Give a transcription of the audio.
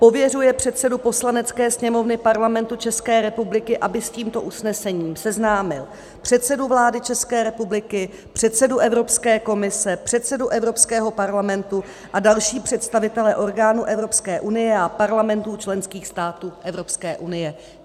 Pověřuje předsedu Poslanecké sněmovny Parlamentu České republiky, aby s tímto usnesením seznámil předsedu vlády České republiky, předsedu Evropské komise, předsedu Evropského parlamentu a další představitele orgánů Evropské unie a parlamentů členských států Evropské unie."